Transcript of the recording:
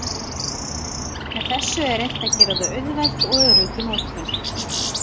Með þessu er reynt að gera þau auðveld og örugg í notkun.